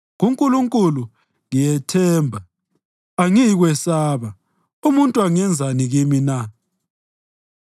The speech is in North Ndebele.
kuNkulunkulu ngiyathemba; angiyikwesaba. Umuntu angenzani kimi na?